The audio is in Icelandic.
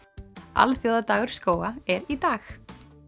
alþjóðadagur skóga er í dag